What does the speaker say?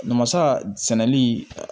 Namasa sɛnɛli